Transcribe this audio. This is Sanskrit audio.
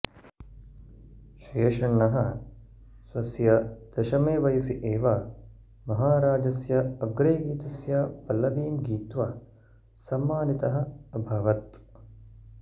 शेषण्णः स्वस्य दशमे वयसि एव महाराजस्य अग्रे गीतस्य पल्लवीं गीत्वा सम्मानितः अभवत्